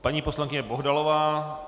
Paní poslankyně Bohdalová.